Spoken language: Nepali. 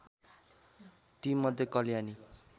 ती मध्ये कल्याणी